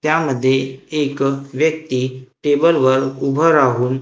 त्यामध्ये एक व्यक्ती टेबलवर उभं राहून--